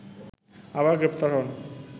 আবার গ্রেপ্তার হন